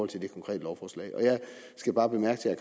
til det konkrete lovforslag jeg skal bare bemærke til